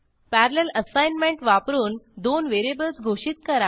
parallel assignment वापरून दोन variables घोषित करा